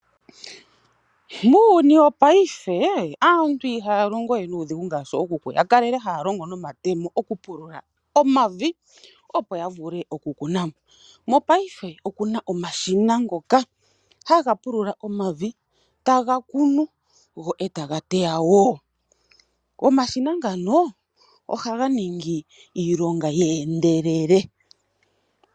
Muuyuni wopaife, aantu ihaa longo we nuudhigu ngaashi ookuku ya kalele haa longo nomatemo okupulula omavi opo ya vule oku kuna mo. Mopaife oku na omashina ngoka ha ga pulula omavi, ta ga kunu go eta ga teya woo. Omashina ngano oha ga ningi iilonga yi endelele.